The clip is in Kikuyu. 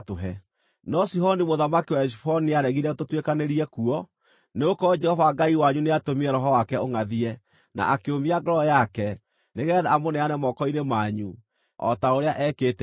No Sihoni mũthamaki wa Heshiboni nĩaregire tũtuĩkanĩrie kuo. Nĩgũkorwo Jehova Ngai wanyu nĩatũmire roho wake ũngʼathie, na akĩũmia ngoro yake, nĩgeetha amũneane moko-inĩ manyu, o ta ũrĩa ekĩte rĩu.